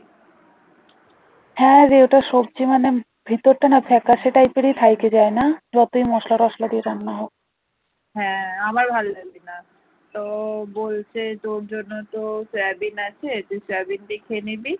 হ্যাঁ আমার ভালো লাগেনা তো বলছে তোর জন্য তো সোয়াবিন আছে তুই সোয়াবিন গিয়ে খেয়ে নিবি